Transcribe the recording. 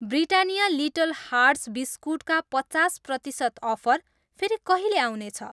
Britannia little hearts biscuit मा पचास प्रतिसत अफर फेरि कहिले आउने छ?